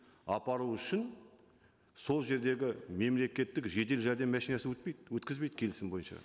апару үшін сол жердегі мемлекеттік жедел жәрдем машинасы өтпейді өткізбейді келісім бойынша